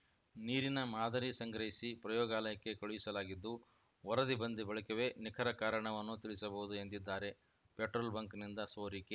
ನೀರಿನ ಮಾದರಿ ಸಂಗ್ರಹಿಸಿ ಪ್ರಯೋಗಾಲಯಕ್ಕೆ ಕಳುಹಿಸಲಾಗಿದ್ದು ವರದಿ ಬಂದ ಬಳಿಕವೇ ನಿಖರ ಕಾರಣವನ್ನು ತಿಳಿಸಬಹುದು ಎಂದಿದ್ದಾರೆ ಪೆಟ್ರೋಲ್‌ ಬಂಕ್‌ನಿಂದ ಸೋರಿಕೆ